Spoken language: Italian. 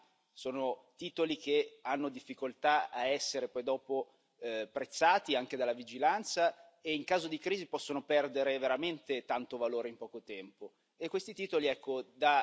I titoli liquidi sono i derivati, sono titoli che hanno difficoltà ad essere poi dopo prezzati anche dalla vigilanza e in caso di crisi possono perdere veramente tanto valore in poco tempo.